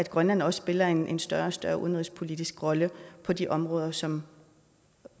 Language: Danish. grønland også spiller en en større og større udenrigspolitisk rolle på de områder som